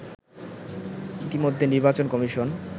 ইতিমধ্যে নির্বাচন কমিশন